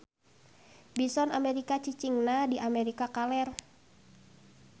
Bison Amerika cicingna di Amerika kaler.